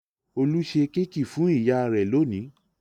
Olú ṣe kéékì fún ìyá rẹ̀ lónìí.